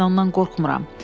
Mən ondan qorxmuram.